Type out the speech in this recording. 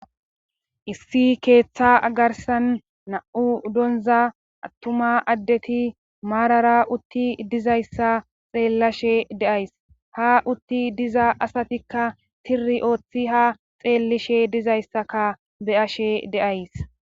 issi keeththa agarsan na7u donza attuma addeti maarara utti dizayssa xeellashe deays ha utti diza asatikka tiri ooththi ha xeellishe dizayssaka beyashe deays